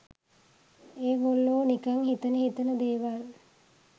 ඒගොල්ලෝ නිකන් හිතෙන හිතෙන දේවල්